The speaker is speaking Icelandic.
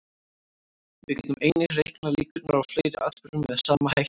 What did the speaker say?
Við getum einnig reiknað líkurnar á fleiri atburðum með sama hætti.